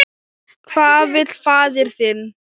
Hvað vill faðir þinn?